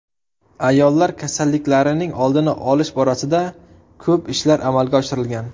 Ayollar kasalliklarining oldini olish borasida ko‘p ishlar amalga oshirilgan.